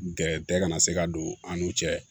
Gɛrɛtɛ kana se ka don an n'u cɛ